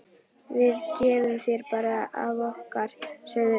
Við gefum þér bara af okkar, sögðu þeir.